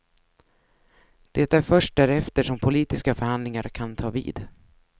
Det är först därefter som politiska förhandlingar kan ta vid.